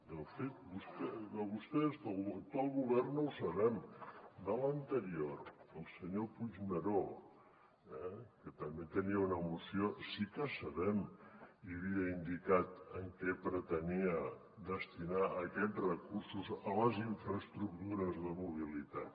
de fet de vostès de l’actual govern no ho sabem de l’anterior del senyor puigneró que també tenia una moció sí que sabem i havia indicat a què pretenia destinar aquests recursos a les infraestructures de mobilitat